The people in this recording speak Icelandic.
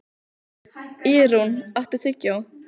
Ýrún, áttu tyggjó?